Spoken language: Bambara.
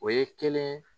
O ye kelen